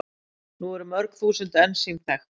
Nú eru mörg þúsund ensím þekkt.